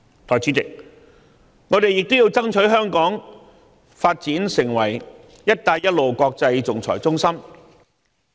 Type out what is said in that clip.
代理主席，我們亦要爭取香港發展成為"一帶一路"國際仲裁中心。